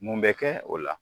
Mun bɛ kɛ o la.